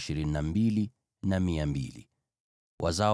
Hizi ndizo koo za Simeoni; walikuwa 22,200.